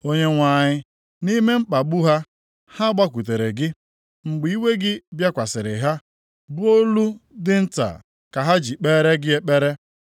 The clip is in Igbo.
Onyenwe anyị, nʼime mkpagbu ha, ha gbakwutere gị. Mgbe iwe gị bịakwasịrị ha, ọ bụ olu dị nta ka ha ji kpeere gị ekpere.